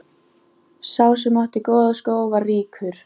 Ég er ekkert að blaðra því í alla.